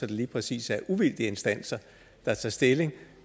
det lige præcis er uvildige instanser der tager stilling